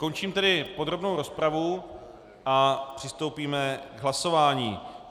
Končím tedy podrobnou rozpravu a přistoupíme k hlasování.